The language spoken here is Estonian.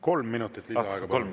Kolm minutit lisaaega, palun!